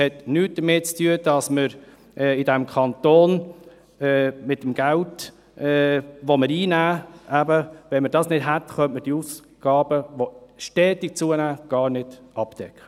Wenn wir sie nicht hätten, könnten wir die Ausgaben, die stetig zunehmen, gar nicht decken.